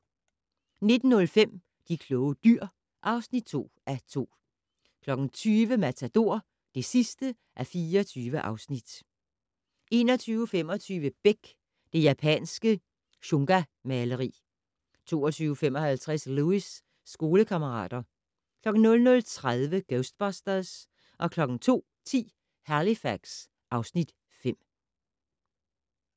19:05: De kloge dyr (2:2) 20:00: Matador (24:24) 21:25: Beck: Det japanske shungamaleri 22:55: Lewis: Skolekammerater 00:30: Ghostbusters 02:10: Halifax (Afs. 5)